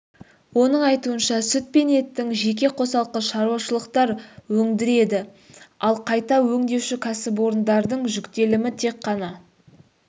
оның айтуынша сүт пен еттің жеке қосалқы шаруашылықтар өндіреді ал қайта өңдеуші кәсіпорындардың жүктелімі тек ғана